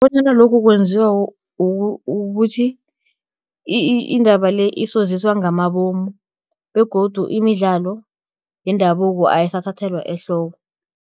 Bonyana lokhu kwenziwa ukuthi indaba le isoziswa ngamabomu begodu imidlalo yendabuko ayisathathelwa ehloko.